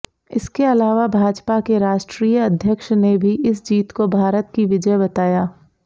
इसके अलावा भाजपा के राष्ट्रीय अध्यक्ष ने भी इस जीत को भारत की विजय बताया